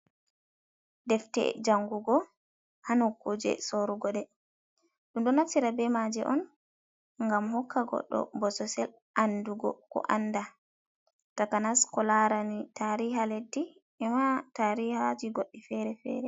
Defte jangugo hánokkuje sorugo deh, dundo naftira be maje on gam hokka goddo bossesél andugo ko anda takanas ko larani tariha leddi ema tarihaji goddí feré feré.